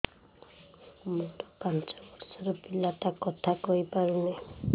ମୋର ପାଞ୍ଚ ଵର୍ଷ ର ପିଲା ଟା କଥା କହି ପାରୁନି